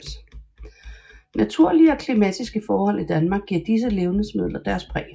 Naturlige og klimatiske forhold i Danmark giver disse levnedsmider deres præg